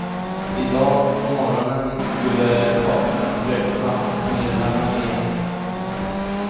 I dag på morgonen skulle parterna träffa medlarna igen.